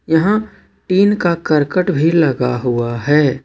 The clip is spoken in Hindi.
यहां टीन का करकट भी लगा हुआ है।